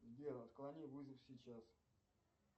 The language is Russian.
сбер отклони вызов сейчас